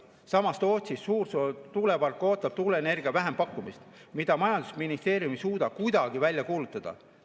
Samas Tootsi Suursoo tuulepark ootab tuuleenergia vähempakkumist, mida majandusministeerium ei suuda kuidagi välja kuulutada.